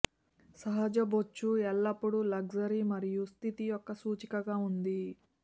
సహజ బొచ్చు ఎల్లప్పుడూ లగ్జరీ మరియు స్థితి యొక్క సూచికగా ఉంది